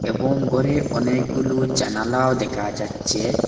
এবং গরে অনেকগুলো জানালাও দেখা যাচ্ছে।